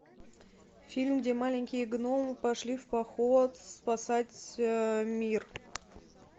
фильм где маленькие гномы пошли в поход спасать мир